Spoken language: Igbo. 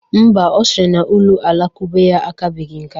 Mba, ọ sịrị na ụlọ alakụba ya akabeghi nká